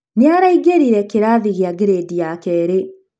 nĩaraingĩrire kĩrathi gia gredi ya kerĩ.